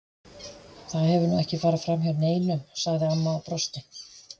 Það hefur nú ekki farið fram hjá neinum, sagði amma og brosti.